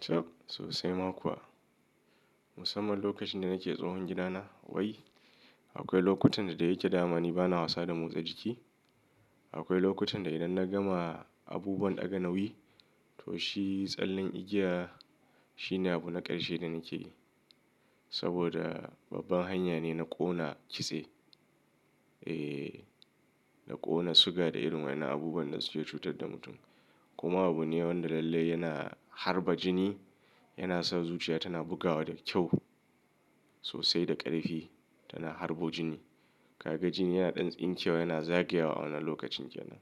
Tsa sosai ma kuwa. Musamman lokacin da nake tsohon gidana wai, akwai lokutan da ya yake damani bana wasa da motsa jiki. Akwai lokutan da idan na gama abubuwan ɗaga nauyi to shi tsallen igiya shine abu na ƙarshe da nake yi. Saboda babban hanya ne na ƙona kitse, eh na ƙona suga da irin wayen abubuwan da suke cutar da mutum. Kuma abu ne wanda lallai yana harba jini, yana sa zuciya tana bugawa da kyau sosai da ƙarfi, tana harbo jini. Kaga jini yana ɗan tsinke wa, yana zagayawa a wannan lokacin kenan.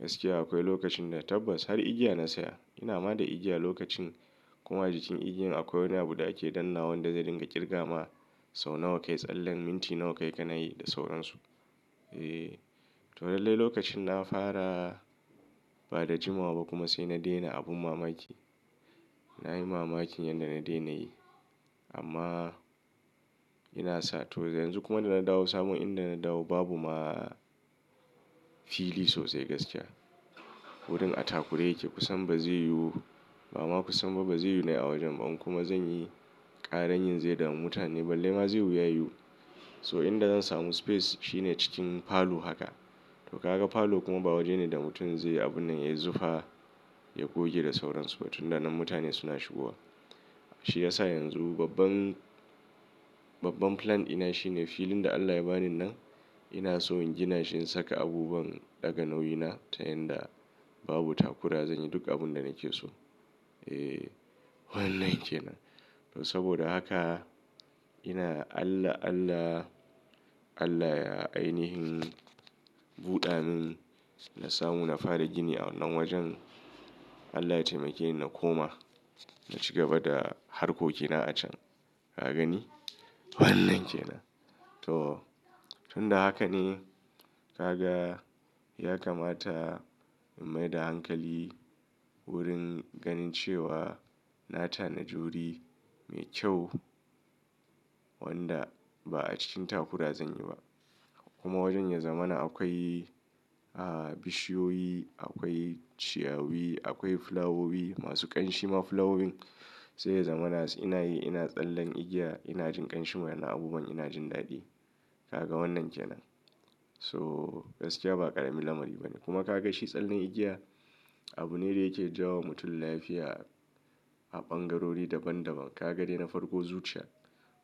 Gaskiya akwai lokacin da tabbas har igiya na saya. Ina ma da igiya lokacin kuma jikin igiyan akwai wani abu da ake danna wanda zai dinga kirga ma sau nawa kai tsallen, minti nawa kai ka na yi da sauransu. Eh, to lallai lokacin na fara ba da jimawa ba kuma sai na daina abun mamaki. Na yi mamakin yanda na daina yi. Amma ina sa to yanzu kuma da na dawo samun inda na dawo babu ma fili sosai gaskiya. Wurin atakura yake. Kusan ba zai yiwu ba kuma kusan ba zai yiwu na yi a wajen ba kuma zan yi ƙaramin zai dama mutane. Balle ma zai iya yiwu. So inda zan samu space shine cikin falo haka. To kaga falo kuma ba waje ne da mutum zai yi abun nan ya zuɓa ya goge da sauransu ba tun ranar mutane suna shigowa. Shi ya sa yanzu babban, babban plan ina shine filin da Allah ya bani nan ina so in gina shi in saka abubuwan ɗaga nauyi na ta yanda babu takura zan yi duk abun da nake so. Eh, wannan kenan. To saboda haka ina Allah, Allah, Allah ya ainihin buɗa min na samu na fara gini a wannan wajen. Allah ya taimake ni na koma, na ci gaba da harkokina a can. Ka gani? Wannan kenan. To tun da haka ne ka ga ya kamata in maida hankali wurin ganin cewa na tanaji wuri mai kyau wanda ba a cikin takura zan yi ba. Kuma wajen ya zamana akwai, ah bishiyoyi, akwai ciyawi, akwai fulawowi masu ƙanshi ma fulawowin. Sai ya zamana ina yi ina tsallen igiya, ina jin ƙanshi mana abubuwan ina jin daɗi. Kaga wannan kenan. So gaskiya ba ƙaramin lamari ba ne. Kuma ka ga shi tsallen igiya abu ne da yake ja wa mutum lafiya a ɓangarori daban daban. Ka ga dai na farko zuciya.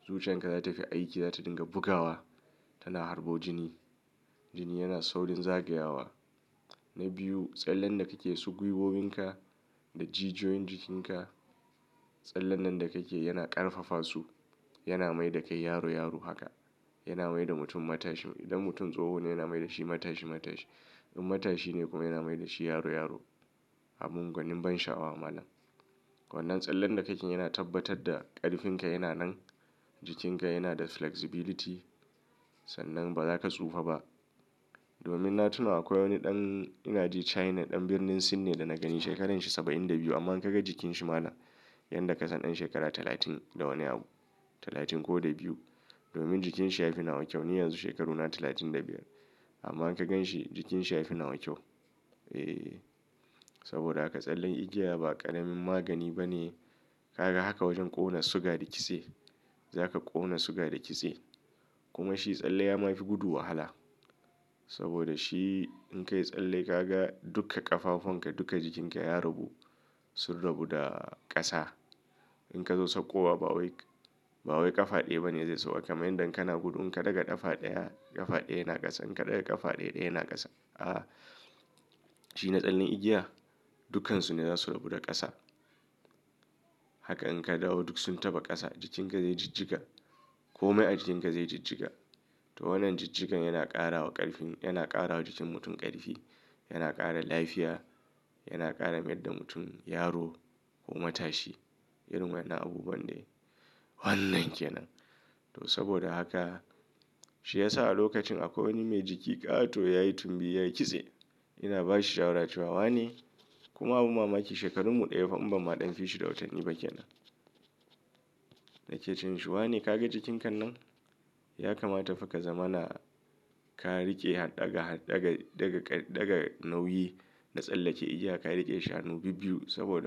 Zuciyan ka za ta fi aiki, za ta dinga bugawa. Tana harbo jini. Jini yana saurin zagayawa. Na biyu, tsallen da kake so gwiwoyin ka da jijiyoyin jikin ka, tsallen nan da kake yana ƙarfafa su. Yana mai da kai yaro yaro haka. Yana mai da mutum matashi. Idan mutum tsoho ne yana mai da shi matashi matashi. In matashi ne kuma yana mai da shi yaro yaro. Abun gwanin ban sha'awa malam. Wannan tsallen da kake yana tabbatar da ƙarfinka yana nan. Jikin ka yana da flexibility sannan ba za ka tsufa ba. Domin na tuna akwai wani ɗan ina ji China, ɗan birnin Sin ne da na gani shekarar shi saba'in da biyu amma in ka ga jikin shi malam, yan da ka san ɗan shekara talatin da wani abu. Talatin ko da biyu. Domin jikin shi ya fi na wa kyau. Ni yanzu shekaru na talatin da biyar amma in ka gan shi jikin shi ya fi na wa kyau. Eh, saboda haka tsallen igiya ba ƙaramin magani ba ne. Ka ga haka wajen ƙona suga da kitse. Za ka ƙona suga da kitse. Kuma shi tsalle ya ma fi gudu wahala. Saboda shi in ka yi tsalle ka ga duka ƙafafun ka duka jikin ka ya rabu sun rabu da ƙasa. In ka zo sauƙowa ba wai, ba wai ƙafa ɗaya ba ne zai sauka. Kamin dan kana gudu in ka ɗaga ƙafa ɗaya, ƙafa ɗaya yana ƙasa, in ka ɗaga ƙafa ɗaya yana ƙasa. Ah, shi na tsallen igiya dukkansu ne za su rabu da ƙasa. Haka in ka dawo duk sun taɓa ƙasa. Jikin ka zai jijjiga. Komai a jikin ka zai jijjiga. To wannan jijjigan yana ƙara wa ƙarfin, yana ƙara wa jikin mutum ƙarfi, yana ƙara lafiya, yana ƙara mayar da mutum yaro ko matashi irin wayen na abubuwan dai. Wannan kenan. To saboda haka shi ya sa a lokacin akwai wani mai jiki ƙato yayi tumbi yayi kitse ina ba shi shawarar ci wawa ne. Kuma abu mamaki shekaru mu ɗaya fa in ba ma ɗan fishi da wutan yi ba kenan. Nake cewa in shuwa ne ka ga jikin ka nan ya kamata ka zama na ka riƙe haɗaga, haɗaga daga nauyi na tsallake igiya. Ka riƙe shanu bibbiyu saboda.